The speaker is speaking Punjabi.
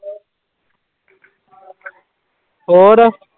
ਹੋਰ।